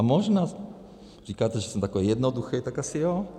A možná - říkáte, že jsem takovej jednoduchej, tak asi jo.